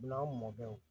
N'an mɔkɛw